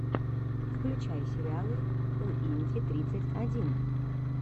включай сериалы уинди тридцать один